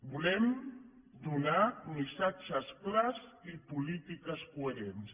volem donar missatges clars i polítiques coherents